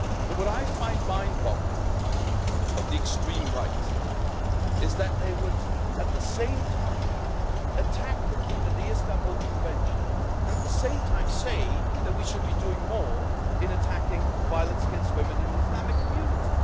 What I find mind boggling, of the extreme right, is that they would attack the Istanbul Convention and, at the same time, say that we should be doing more in attacking violence against women in the Islamic community.